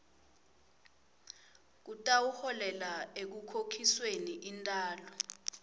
kutawuholela ekukhokhisweni intalo